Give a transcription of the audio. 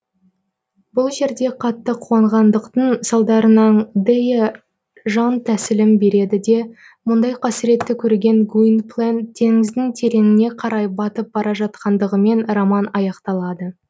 бұл жерде қатты қуанғандықтың салдарынан дэя жан тәсілім береді де мұндай қасіретті көрген гуинплен теңіздің тереңіне қарай батып бара жатқандығымен роман аяқталады